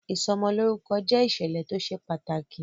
Ìsọ'mọlórúkọ jẹ ìṣẹ̀lẹ̀ tó ṣe pàtàkì